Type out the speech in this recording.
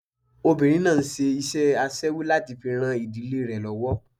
Obinrin náà ń ṣe iṣẹ́ aṣẹ́wó láti fi ran ìdílé rẹ lọ́wọ́.